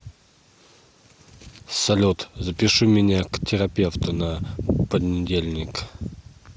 салют запиши меня к терапевту на понедельник